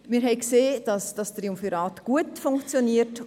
Wir haben gesehen, dass dieses Triumvirat gut funktioniert.